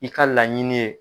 I ka laɲini ye.